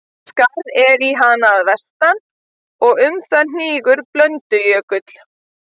Skarð er í hana að vestan, og um það hnígur Blöndujökull.